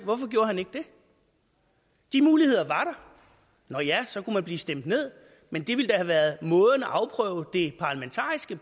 hvorfor gjorde han ikke det de muligheder var der nå ja så kunne man blive stemt ned men det ville da have været måden at afprøve det